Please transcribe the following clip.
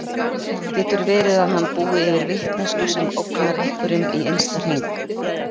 Getur verið að hann búi yfir vitneskju sem ógnar einhverjum í innsta hring?